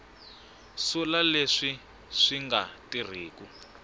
sula leswi swi nga tirhiku